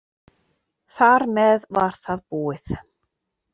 Þar með var það búið.